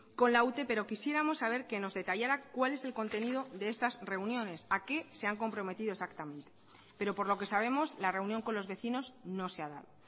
con la ute pero quisiéramos saber que nos detallara cuál es el contenido de estas reuniones a qué se han comprometido exactamente pero por lo que sabemos la reunión con los vecinos no se ha dado